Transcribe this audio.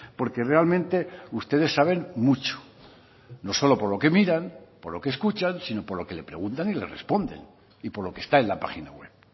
porque realmente ustedes saben mucho no solo por lo que miran por lo que escuchan sino por lo que le preguntan y le responden y por lo que está en la página web